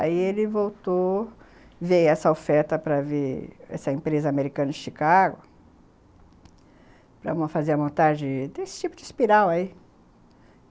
Aí ele voltou ver essa oferta para ver essa empresa americana de Chicago, para fazer a montagem desse tipo de espiral aí.